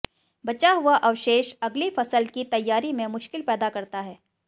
बचा हुआ अवशेष अगली फसल की तैयारी में मुश्किल पैदा करता है